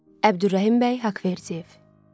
Əbdülrəhimbəy Haqverdiyev.